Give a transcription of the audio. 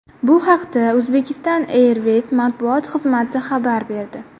Bu haqda Uzbekistan Airways matbuot xizmati xabar berdi .